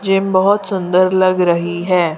Gym बहोत सुंदर लग रही है।